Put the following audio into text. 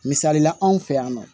Misali la anw fɛ yan nɔ